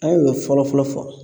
An y'o fɔlɔ fɔlɔ fɔ